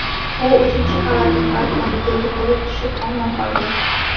U uchinchi qavatning balkoniga yiqilib tushib omon qolgan.